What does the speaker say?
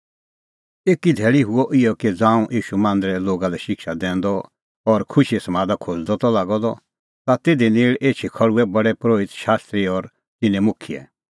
एकी धैल़ी हुअ इहअ कि ज़ांऊं ईशू मांदरै लोगा लै शिक्षा दैंदअ और खुशीए समादा खोज़दअ त लागअ द ता तिधी नेल़ एछी खल़्हुऐ प्रधान परोहित शास्त्री और तिन्नें मुखियै